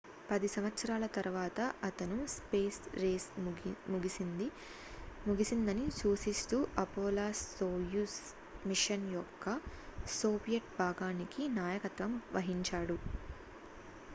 పది సంవత్సరాల తరువాత అతను స్పేస్ రేస్ ముగిసిందని సూచిస్తూ అపోలో-సోయుజ్ మిషన్ యొక్క సోవియట్ భాగానికి నాయకత్వం వహించాడు